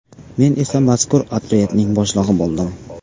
Men esa mazkur otryadning boshlig‘i bo‘ldim.